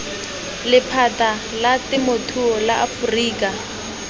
lephata la temothuo la aforika